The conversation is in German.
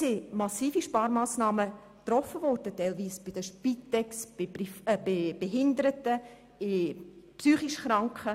Es wurden massive Sparmassnahmen getroffen, so bei der Spitex, bei Behinderten und bei psychisch Kranken.